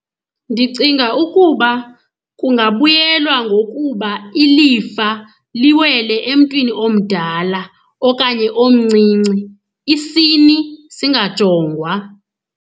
Ndicinga ukuba kungabuyelwa ngokuba ilifa liwele emntwini omdala okanye omncinci, isini singajongwa.